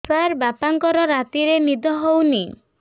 ସାର ବାପାଙ୍କର ରାତିରେ ନିଦ ହଉନି